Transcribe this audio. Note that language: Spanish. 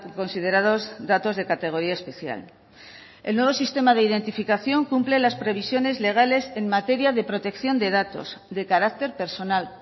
considerados datos de categoría especial el nuevo sistema de identificación cumple las previsiones legales en materia de protección de datos de carácter personal